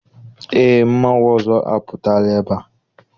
Eé, mmanwụ ọzọ apụtala ebea.